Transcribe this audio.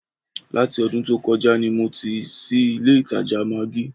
Láti ọdún tó kọjá ni mo ti ṣí ilé ìtajà maggí